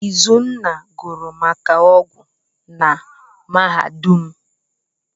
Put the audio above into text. Izunna gụrụ maka ọgwụ na mahadum.